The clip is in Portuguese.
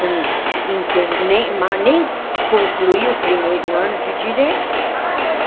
Eu não não termi nem mas nem concluí o primeiro ano de direito.